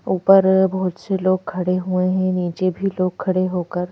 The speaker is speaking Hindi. ऊपर बहुत से लोग खड़े हुए हैं नीचे भी लोग खड़े होकर--